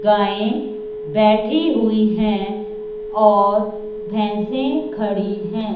गाएं बैठी हुई है और भैंसे खड़ी है।